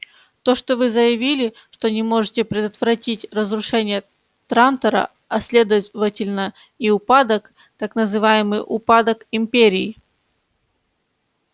то что вы заявили что не можете предотвратить разрушение трантора а следовательно и упадок так называемый упадок империи